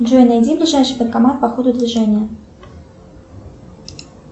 джой найди ближайший банкомат по ходу движения